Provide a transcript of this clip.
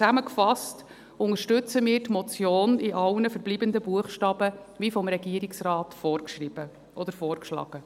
Zusammengefasst: Wir unterstützen die Motion in allen verbliebenen Buchstaben wie vom Regierungsrat vorgeschrieben oder vorgeschlagen.